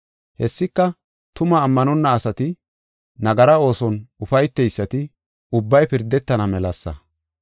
Hessika, tumaa ammanonna asati, nagara ooson ufayteysati ubbay pirdetana melasa.